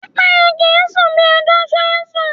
Pẹ́pẹ́yẹ kì ń sún bí ajá ṣe ń sùn.